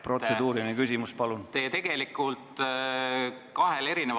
Protseduuriline küsimus, palun!